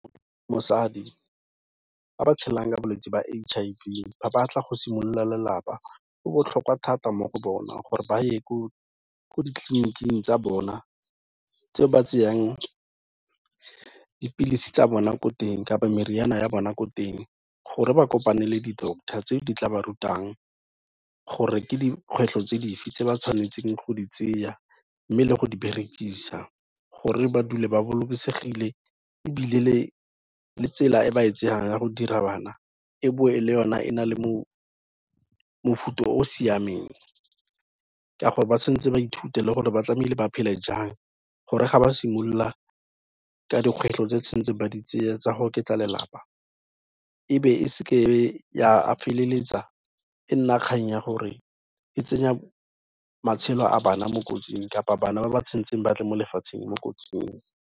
Mosadi ba ba tshelang ka bolwetsi ba H_I_V, ba batla go simolola lelapa, go botlhokwa thata mo go bona gore ba ye ko ditleliniking tsa bona tseo ba tseyang dipilisi tsa bona ko teng kapa mariana ya bona ko teng, gore ba kopane le di-doctor tse di tla ba rutang gore ke dikgwetlho tse dife tse ba tshwanetseng go di tseya, mme le go di berekisa gore ba dule ba bolokesegile ebile le tsela e ba e tsayang ya go dira bana e boe le o na e na le mofuta o o siameng, ka gore ba tshwanetse baithuti le gore ba tlamehile ba phele jang gore ga ba simolola ka dikgwetlho tse tshwantse ba di tseye tsa go oketsa lelapa e be e seke ya feleletsa e nna kgang ya gore e tsenya matshelo a bana mo kotsing, kapa bana ba ba tshwantseng batle mo lefatsheng mo kotsing.